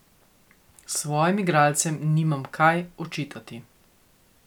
Svojim igralcem nimam kaj očitati.